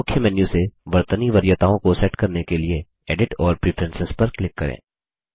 मुख्य मेन्यू से वर्तनी वरीयताओं को सेट करने के लिए एडिट और प्रेफरेंस पर क्लिक करें